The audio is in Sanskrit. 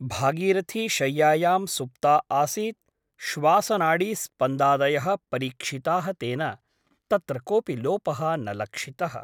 भागीरथी शय्यायां सुप्ता आसीत् । श्वासनाडीस्पन्दादयः परीक्षिताः तेन । तत्र कोऽपि लोपः न लक्षितः ।